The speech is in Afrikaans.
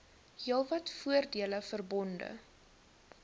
heelwat voordele verbonde